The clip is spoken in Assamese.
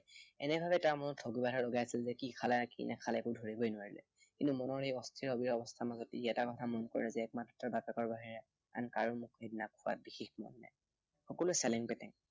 এনে ধৰণে তাৰ মনত থৌকিবাথৌ লগাইছিল যে কি খালে, কি নাখালে একো ধৰিবই নোৱাৰিলে। কিন্তু মনৰ এই অস্থিৰ অবীৰ অৱস্থাৰ মাজত ই এটা কথা মনত কৰিলে যে একমাত্ৰ বাপেকৰ বাহিৰে আন কাৰো মনত সেইদিনা খোৱাত বিশেষ মন নাই। কলোৱেই চেলেপেটেং